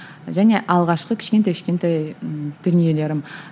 және алғашқы кішкентай кішкентай ііі дүниелерім